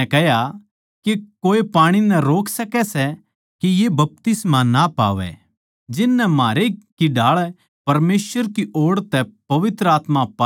के कोए पाणी नै डाट सकै सै के ये बपतिस्मा ना पावै जिननै म्हारै की ढाळ पवित्र आत्मा पाया सै